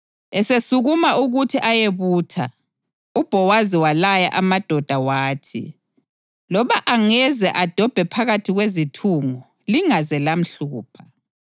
Esesukuma ukuthi ayebutha, uBhowazi walaya amadoda wathi, “Loba angaze adobhe phakathi kwezithungo, lingaze lamhlupha.